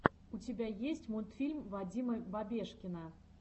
у тебя есть мультфильм вадима бабешкина